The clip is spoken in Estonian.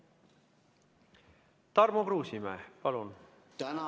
Tarmo Kruusimäe, palun!